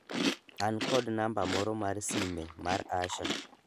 an kod namba moro mar sime mar Asha